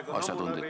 Aeg on ammu läbi.